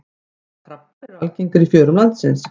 Hvaða krabbar eru algengir í fjörum landsins?